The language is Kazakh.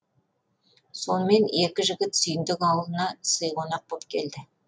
сонымен екі жігіт сүйіндік ауылына сый қонақ боп келді